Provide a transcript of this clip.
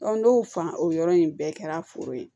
n'o fan o yɔrɔ in bɛɛ kɛra foro ye